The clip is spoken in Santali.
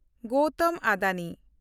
ᱜᱳᱣᱛᱢ ᱟᱰᱟᱱᱤ